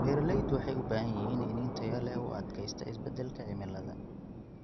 Beeralaydu waxay u baahan yihiin iniin tayo leh oo u adkaysta isbeddelka cimilada.